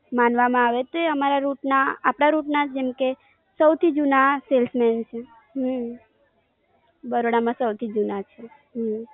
માનવા માં આવે છે અમારા rut ના, આપણા rut ના જેમ કે સવથી જૂના Salesman છે. હમમમ. બરોડા માં સવથી જૂના છે. હમમમ.